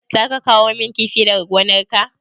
Za ka kawo min kifi daga gonar ka?